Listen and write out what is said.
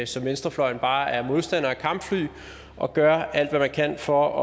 som venstrefløjen bare er modstander af kampfly og gør alt hvad man kan for